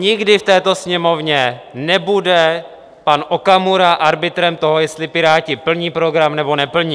Nikdy v této Sněmovně nebude pan Okamura arbitrem toho, jestli Piráti plní program, nebo neplní.